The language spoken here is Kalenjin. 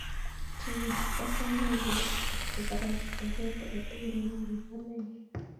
Chebet asame iger kotko karasich baruet agetugul neobu kamenyun